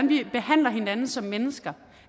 vi behandler hinanden som mennesker